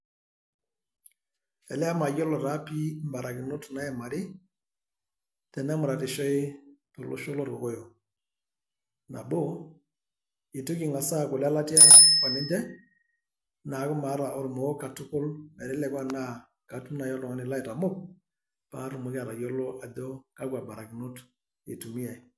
Elee mayiolo taa pii barakinot naimari, tenemuratishoi to losho loo irkokoyok. Nabo itu king`as aaku ile latia o ninche niaku maata olmoo katukul, meteleku enaa katum naaji oltung`ani laitamok, paa atumoki atayiolo ajo kakwa barakinot itumiyiai.